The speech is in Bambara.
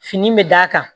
Fini bɛ d'a kan